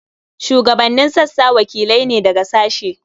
Shugabannin sassa wakilai ne daga sashe.